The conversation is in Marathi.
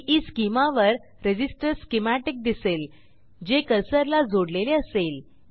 ईस्केमा वर रेझिस्टर स्कीमॅटिक दिसेल जे कर्सरला जोडलेले असेल